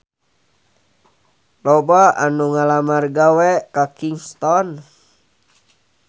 Loba anu ngalamar gawe ka Kingston